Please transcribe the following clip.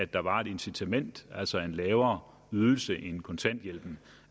der var et incitament altså en lavere ydelse end kontanthjælpen